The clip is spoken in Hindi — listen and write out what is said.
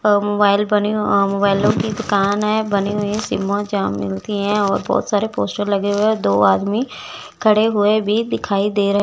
अ मोबाइल बनी अ मोबाइलों की दुकान है बनी हुई है सिम जहां मिलती हैं और बहुत सारे पोस्टर लगे हुए है दो आदमी खड़े हुए भी दिखाई दे रहे --